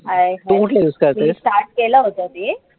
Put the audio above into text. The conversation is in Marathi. मी start केलं होतं ते